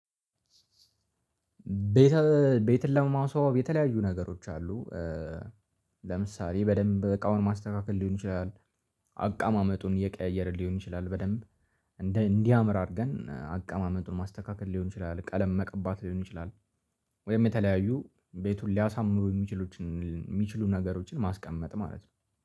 ቤተ ቤተላማው ሰው የተለያዩ ነገሮች አሉ ለምሳሌ በደንብ እቃውን ማስተካከል ሊሆን ይችላል። አቀማመጡን እየቀየረ ሊሆን ይችላል በደንብ እንዲህ እንዲህ አምር አድርገን አቀማመጡን ማስተካከል ሊሆን ይችላል። ቀለም መቀባት ሊሆን ይችላል። ወይም የተለያዩ ቤቱን ሊያሳምሩ የሚችሉ የሚችሉ ነገሮችን ማስቀመጥ ማለት ነው